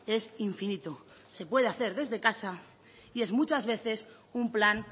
es infinito se puede hacer desde casa y es muchas veces un plan